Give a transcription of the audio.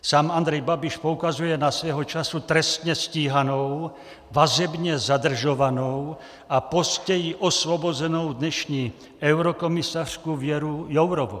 Sám Andrej Babiš poukazuje na svého času trestně stíhanou, vazebně zadržovanou a později osvobozenou dnešní eurokomisařku Věru Jourovou.